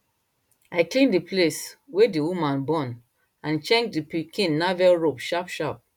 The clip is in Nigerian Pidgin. i clean the place wey the woman born and check the pikin navel rope sharp sharp